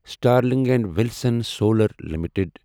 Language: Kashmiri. Sterling and Wilson Solar limited